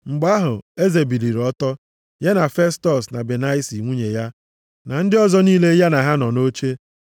Mgbe ahụ eze biliri ọtọ, ya na Festọs na Benaisi nwunye ya na ndị ọzọ niile ya na ha nọ nʼoche.